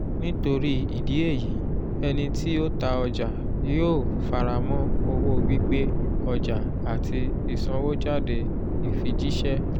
nítorí ìdí èyí ẹnití o ta ọjà yóó faramọ̀ owó gbígbé ọjà àti ìsanwójáde ìfijìṣẹ